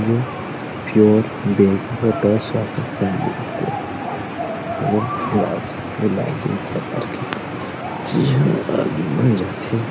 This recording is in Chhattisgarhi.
जो प्योर वेज स्टोर यह लॉज एक प्रकार के झी हां आदमी मन जाथे।